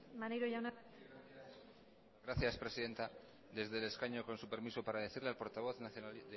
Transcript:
maneiro jauna zurea da hitza gracias presidenta desde el escaño con su permiso para decirle al portavoz de